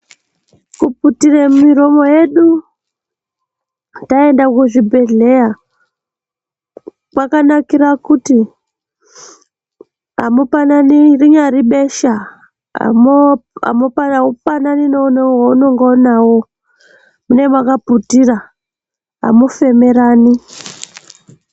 Kuputire miromo yedu taenda kuzvibhedhleyaa kwakanakira kuti amupanani rinyari besha amu Amupa aupanani neveunenga unawo munenge makaputira amufemerani.